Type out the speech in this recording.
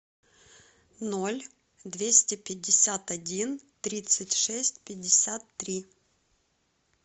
ноль двести пятьдесят один тридцать шесть пятьдесят три